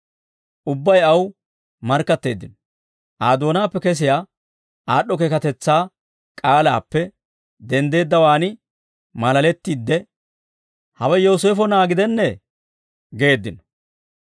Ubbay aw markkatteeddino. Aa doonaappe kesiyaa aad'd'o keekatetsaa k'aalaappe denddeeddawaan maalalettiidde, «Hawe Yooseefo na'aa gidennee?» geeddino.